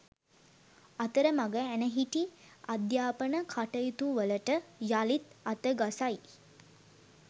අතරමඟ ඇනහිටි අධ්‍යාපන කටයුතුවලට යළිත් අතගසයි